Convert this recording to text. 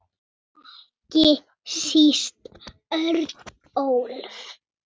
Ekki síst Örnólf.